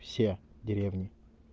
все деревни